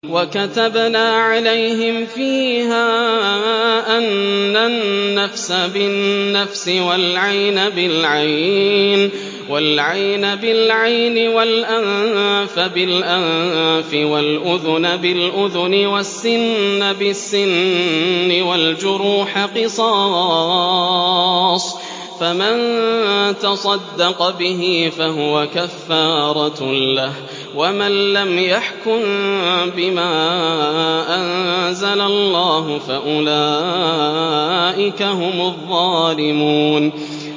وَكَتَبْنَا عَلَيْهِمْ فِيهَا أَنَّ النَّفْسَ بِالنَّفْسِ وَالْعَيْنَ بِالْعَيْنِ وَالْأَنفَ بِالْأَنفِ وَالْأُذُنَ بِالْأُذُنِ وَالسِّنَّ بِالسِّنِّ وَالْجُرُوحَ قِصَاصٌ ۚ فَمَن تَصَدَّقَ بِهِ فَهُوَ كَفَّارَةٌ لَّهُ ۚ وَمَن لَّمْ يَحْكُم بِمَا أَنزَلَ اللَّهُ فَأُولَٰئِكَ هُمُ الظَّالِمُونَ